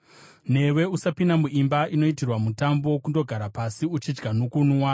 “Newe usapinda muimba inoitirwa mutambo kundogara pasi uchidya nokunwa.